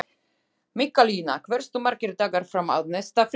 Mikkalína, hversu margir dagar fram að næsta fríi?